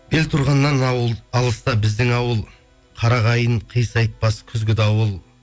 белтұрғаннан ауыл алыста біздің ауыл қара қайын қисатпас күзгі дауыл